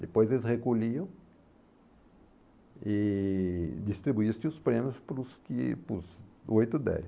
Depois eles recolhiam e distribuíam os prêmios para os que para os oito e dez.